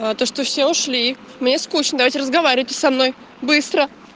а то что все ушли мне скучно давайте разговаривайте со мной быстро